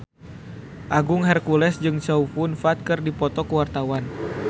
Agung Hercules jeung Chow Yun Fat keur dipoto ku wartawan